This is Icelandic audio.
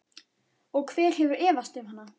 Og hver hefur efast um hann?